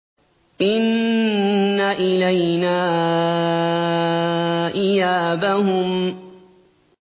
إِنَّ إِلَيْنَا إِيَابَهُمْ